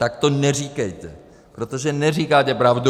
Tak to neříkejte, protože neříkáte pravdu.